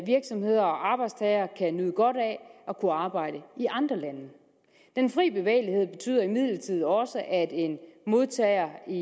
virksomheder og arbejdstagere kan nyde godt af at kunne arbejde i andre lande den fri bevægelighed betyder imidlertid også at en modtager i